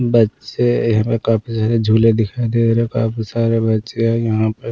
बच्चे यहाँ पे काफी सारे झूले दिखाई दे रहे हैं काफी सारे बच्चे यहाँ पे।